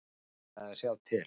Ég ætla að sjá til.